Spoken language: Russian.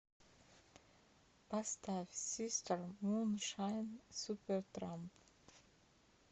поставь систер муншайн супертрамп